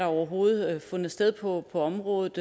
overhovedet fundet sted på området